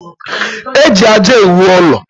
E ji aja ewụ ụlọ.